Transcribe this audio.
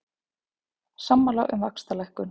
Sammála um vaxtalækkun